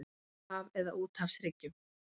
Kyrrahaf eða á úthafshryggjum.